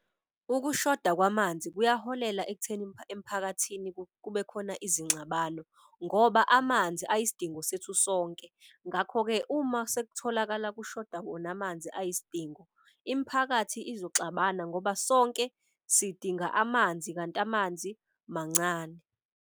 Ukushoda kwamanzi kuyakuholela ekutheni emphakathini kube khona izingxabano ngoba amanzi ayisidingo sethu sonke. Ngakho-ke, uma sekutholakala kushoda wona amanzi ayisidingo, imiphakathi izoxabana ngoba sonke sidinga amanzi kanti amanzi mancane.